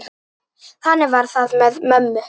Þannig var það með mömmu.